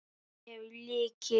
Ég hef lykil.